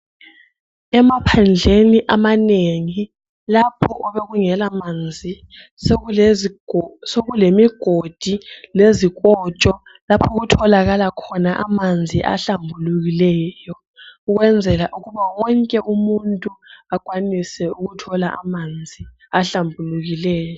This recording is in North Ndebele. Emaphandleni amanengi lapho obekungela manzi sekulemigodi lezikotsho lapho okutholakala khona amanzi ahlambulukileyo ukwenzela ukuba wonke umuntu akwanise ukuthola amanzi ahlambulukileyo.